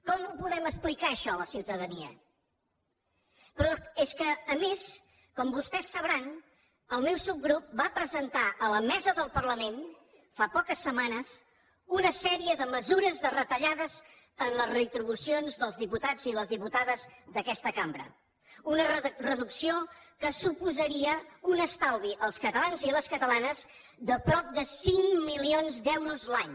com ho podem explicar això a la ciu tadania però és que a més com vostès deuen saber el meu subgrup va presentar a la mesa del parlament fa poques setmanes una sèrie de mesures de retallades en les retribucions dels diputats i les diputades d’aquesta cambra una reducció que suposaria un estalvi als catalans i les catalanes de prop de cinc milions d’euros l’any